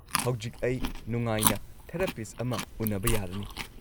ꯍꯧꯖꯤꯛ ꯑꯩ ꯅꯨꯡꯉꯥꯏꯅ ꯊꯦꯔꯥꯄꯤꯁꯠ ꯑꯃ ꯎꯅꯕ ꯌꯥꯔꯅꯤ꯫